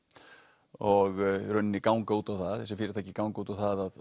og í rauninni ganga út á það þessi fyrirtæki ganga út á það að